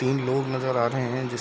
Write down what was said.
तीन लोग नजर आ रहे है जिसमे --